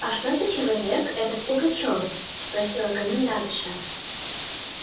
а что за человек этот пугачёв спросила комендантша